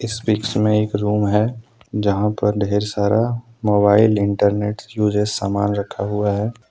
इस पिक्स में एक रूम है जहां पर ढेर सारा मोबाइल इंटरनेट यूसेज सामान रखा हुआ है।